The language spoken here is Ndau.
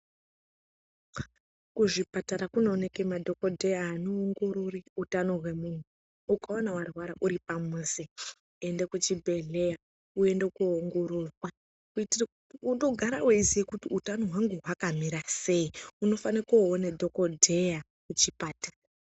Kuzvipatara kunooneke madhokodheya anoongorore utano hwemuntu ukaona hwarwara uri pamuzi enda kuchibhedhleya uende koongororwa kuitira kuti unogare weiziya kuti utano hwangu hwakamira sei unofane koone dhokodheya kuchipatara.